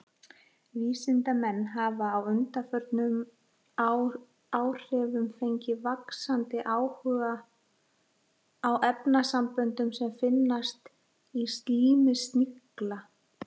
Vísindamenn hafa á undanförnum áhrifum fengið vaxandi áhuga á efnasamböndum sem finnast í slími snigla.